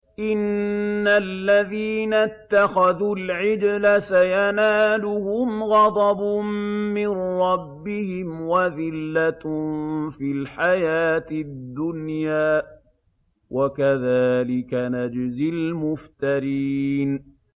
إِنَّ الَّذِينَ اتَّخَذُوا الْعِجْلَ سَيَنَالُهُمْ غَضَبٌ مِّن رَّبِّهِمْ وَذِلَّةٌ فِي الْحَيَاةِ الدُّنْيَا ۚ وَكَذَٰلِكَ نَجْزِي الْمُفْتَرِينَ